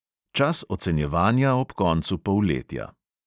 Čas ocenjevanja ob koncu polletja.